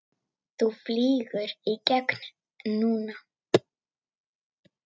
Þú flýgur í gegn núna!